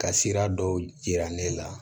Ka sira dɔw yira ne la